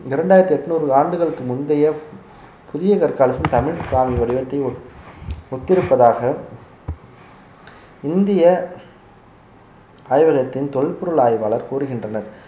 இரண்டாயிரத்தி எண்ணூறு ஆண்டுகளுக்கு முந்தைய புதிய கற்காலத்தில் தமிழ் பிராமி வடிவத்தை ஒத்~ ஒத்திருப்பதாக இந்திய ஆய்வகத்தின் தொல்பொருள் ஆய்வாளர் கூறுகின்றனர்